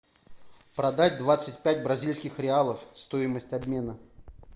продать двадцать пять бразильских реалов стоимость обмена